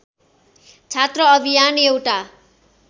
छात्र अभियान एउटा